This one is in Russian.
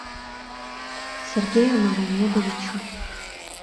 сергею магомедовичу